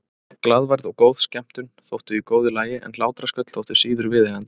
Glaðværð og góð skemmtun þóttu í góðu lagi en hlátrasköll þóttu síður viðeigandi.